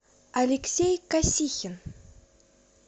алексей косихин